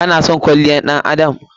Ki/ka na son kwalliyar ɗan adam?